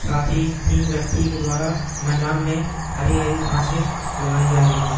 साथी तीन व्यक्ति के द्वारा मैदान मैं हरी-हरी घासे लगाई जारही हैं।